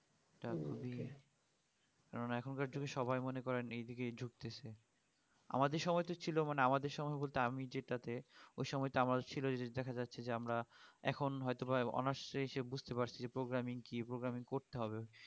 কেননা এখন কার যুগে সবাই মনে করেন এই দিকে যুক্তেছে আমাদের সময় তো ছিল মানে আমাদের সময় বলতে আমি যেটাটে ওই সময়টা আমার ছিল যে দেখা যাচ্ছে আমরা এখন হয়তোবা honours এ এসে বুজতে পারছি যে programming কি programming করতে হবে